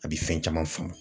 A bɛ fɛn caman faamu